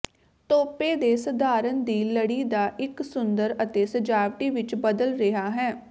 ਤੋਪੇ ਦੇ ਸਧਾਰਨ ਦੀ ਲੜੀ ਦਾ ਇੱਕ ਸੁੰਦਰ ਅਤੇ ਸਜਾਵਟੀ ਵਿੱਚ ਬਦਲ ਰਿਹਾ ਹੈ